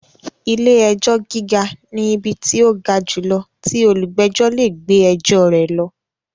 Ilé-ẹjọ́ gíga ni ibi tí tó ga jùlọ tí olùgbẹ̀jọ́ lè gbé ẹjọ rẹ̀ lọ.